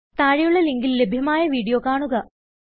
താഴെയുള്ള ലിങ്കിൽ ലഭ്യമായ വീഡിയോ കാണുക